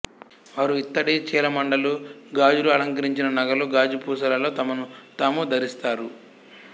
వారు ఇత్తడి చీలమండలు గాజులు అలంకరించిన నగలు గాజు పూసలలో తమను తాము ధరిస్తారు